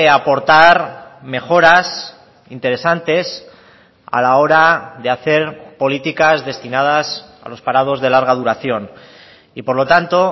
aportar mejoras interesantes a la hora de hacer políticas destinadas a los parados de larga duración y por lo tanto